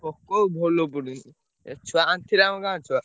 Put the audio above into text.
POCO ଭଲ ପଡ଼ୁନି। ଏ ଛୁଆ ଆଣିଥିଲେ ଆମ ଗାଁ ଛୁଆ।